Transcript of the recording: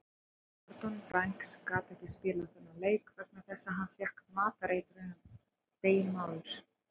Gordon Banks gat ekki spilað þennan leik vegna þess að hann fékk matareitrun deginum áður.